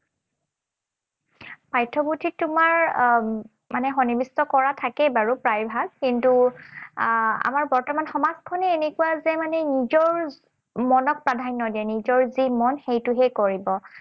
পাঠ্যপুথিত তোমাৰ আহ সন্নিবিষ্ট কৰা থাকেই বাৰু প্ৰায় ভাগ। কিন্তু আহ আমাৰ বৰ্তমানৰ সমাজখনেই এনেকুৱা যে মানে নিজৰ মনক প্ৰাধান্য দিয়ে, নিজৰ যি মন সেইটোহে কৰিব।